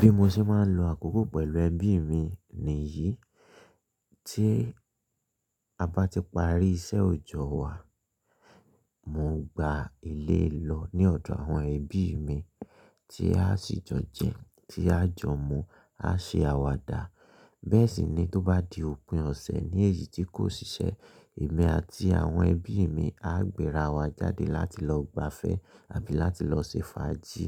Bí mo ṣe máa ń lo àkókò pẹ̀lú ẹbí mi nìyí, tí a bá ti parí iṣẹ́ òojọ́ wa, mo ngba ilé lọ ní ọ̀dọ̀ àwọn ẹbí mi tí a sì jo jẹ, tí a jọ mu, á ṣe àwàdà. Bẹ́ẹ̀ sì ni tó bá di òpin ọ̀sẹ̀ ní èyí tí kò siṣẹ́, èmi àti àwọn ẹbí mi á gbéra wa jáde láti lọ gbafẹ́ àbí láti lọ ṣe fàájì